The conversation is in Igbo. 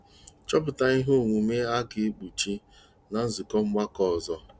Chọpụta ihe omụ́mụ́ a ga-ekpuchi ná nzukọ ọgbakọ ọzọ.